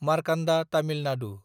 Markanda Tamil Nadu